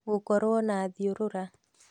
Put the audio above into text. gũkorwo na thiũrũra